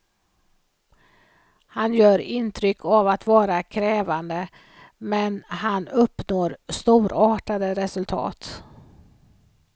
Han gör intryck av att vara krävande, men han uppnår storartade resultat.